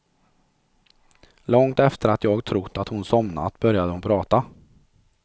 Långt efter att jag trott att hon somnat, började hon prata.